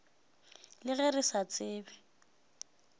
le ge re sa tsebe